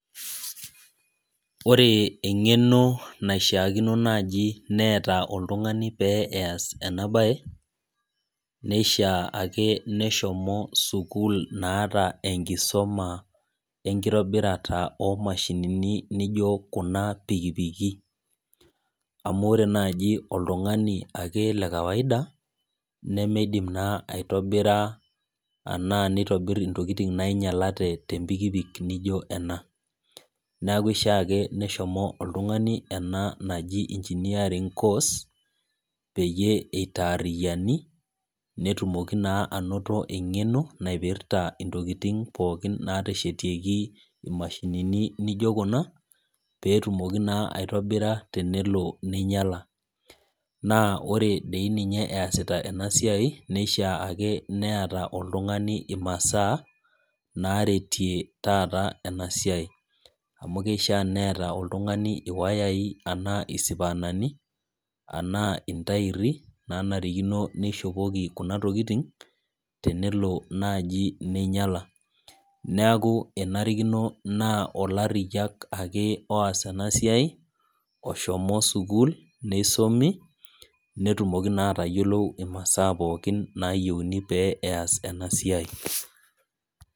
Ore eng'eno naishaakino naji neeta oltung'ani pee eas enabae, neishaa ake neshomo sukuul naata enkisuma enkitobirata omashinini nijo kuna pikipiki. Amu ore naji oltung'ani ake le kawaida, nemeidim naa aitobira anaa nitobir intokiting nainyalate tempikipik nijo ena. Neeku kishaa ake neshomo oltung'ani ena naji engineering course, peyie itaarriyiani, netumoki naa anoto eng'eno naipirta intokiting pookin nateshetieki imashinini nijo kuna, petumoki naa aitobira tenelo ninyala. Naa ore doi ninye eesita enasiai, nishaa ake neeta oltung'ani imasaa, naretie taata enasiai. Amu keishaa neeta oltung'ani iwayai anaa isipaanani, anaa intairi, nanarikino nishopoki kuna tokiting, tenelo naji ninyala. Neeku enarikono naa olarriyiak ake oas enasiai, oshomo sukuul, nisumi, netumoki naa atayiolo imasaa pookin nayieuni pee eas enasiai.